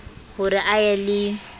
ho re a ye le